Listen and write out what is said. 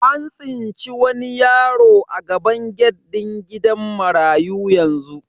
An tsinci yaro a gaban gate din gidan marayu yanzu.